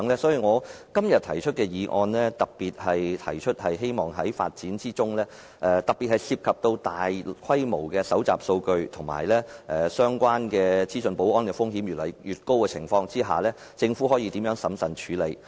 所以，我今天提出的修正案特別提出希望在發展智慧城市的過程中，在涉及大規模數據搜集和相關資訊保安的風險越來越高的情況下，政府可以如何審慎處理。